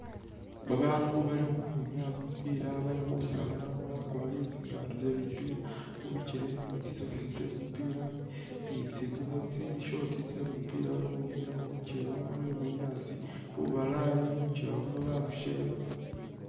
Babaandu bali khukhwinyaya kumupila bali khusalana bakwalire tsingaato tsye kumupila mubigele ni tsisocks tse kumupila ni tsingubo tsi short tse kumupila bali khukhwinyaya khulukewa lwe bunyaasi lubalayi lukewa luno balusheeba